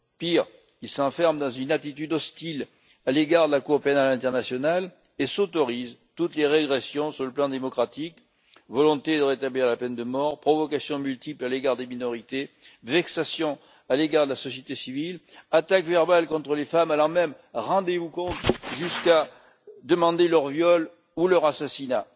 Pire, il s'enferme dans une attitude hostile à l'égard de la Cour pénale internationale et s'autorise toutes les régressions sur le plan démocratique volonté de rétablir la peine de mort, provocations multiples à l'égard des minorités, vexations à l'égard de la société civile, attaques verbales contre les femmes allant même rendez vous compte jusqu'à demander leur viol ou leur assassinat!